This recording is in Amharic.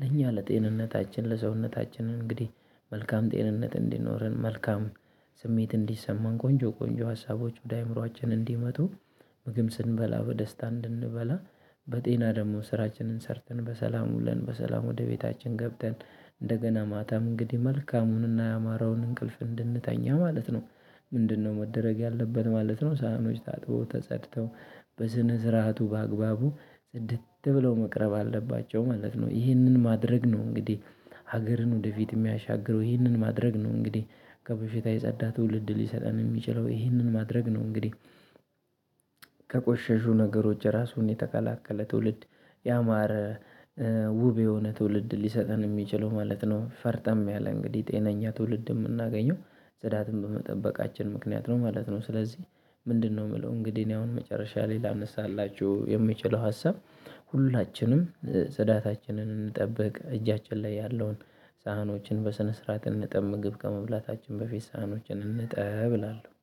ለእኛ ለጤንነታችን ለሰውነታችን እንግዲህ መልካም ጤንነት እንዲኖረን መልካም ስሜት እንዲሰማን ቆንጆ ቆንጆ ሀሳቦች ወደ አእምሮአችን እንዲመጡ ምግብ ስንበላ በደስታ እንድንበላ በጤና ደግሞ ስራችንን ሰርተን በሰላም ውለን በሰላም ወደ ቤታችን ገብተን እንደገና ማታም እንግዲህ መልካሙንና ያማረውን እንቅልፍ እንድንተኛ ማለት ነው። ምንድነው መደረግ ያለበት ማለት ነው ሳህኖች ታጥበው ተጸድተው በስነ ስርዓቱ በአግባቡ ጽድት ብለው መቅረብ አለባቸው ማለት ነው። ይህንን ማድረግ ነው እንግዲህ ሀገርን ወደፊት የሚያሻግረው። ይህንን ማድረግ ነው እንግዲህ ከበሽታ የጸዳ ትውልድ ሊሰጠን የሚችለው። ይህንን ማድረግ ነው እንግዲህ ከቆሸሹ ነገሮች ራሱን የተከላከለ ትውልድ፣ ያማረ ውብ የሆነ ትውልድ ሊሰጠን የሚችለው ማለት ነው። ፈርጠም ያለ እንግዲህ ጤነኛ ትውልድ የምናገኘው ጽዳትን በመጠበቃችን ምክንያት ነው ማለት ነው። ስለዚህ ምንድነው የምለው እንግዲህ እኔ አሁን መጨረሻ ላይ ላነሳላችሁ የምችለው ሀሳብ ሁላችንም ጽዳታችንን እንጠብቅ። እጃችን ላይ ያለውን ሳህኖችን በስነ ስርዓት እንጠብ ምግብ ከመብላታችን በፊት ሳህኖችን እንጠብ እላለሁ።